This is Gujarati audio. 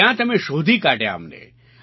ત્યાં તમે શોધી કાઢ્યા અમને